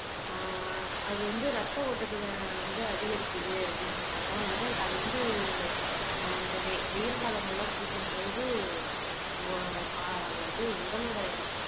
ஆஹ் அது வந்து ரத்த ஓட்டத்தை வந்து அதிகரிக்குது அப்படின்னு சொல்றாங்க உடல் அது வந்து ஆஹ் இந்த வெயி வெயில் காலங்கள்ல குடிக்கும்போது இது உடலோட